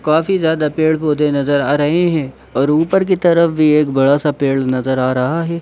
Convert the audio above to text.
काफ़ी ज्यादा पेड़ पोधे नजर आ रहे हैं और ऊपर कि तरफ भी एक बड़ा सा पेड़ नजर आ रहा है।